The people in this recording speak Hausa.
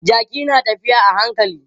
Jaki na tafiya a hankali.